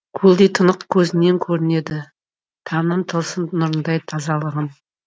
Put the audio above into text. көлдей тұнық көзіңнен көрінеді таңның тылсым нұрындай тазалығың